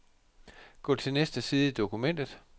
Gå til næste side i dokumentet.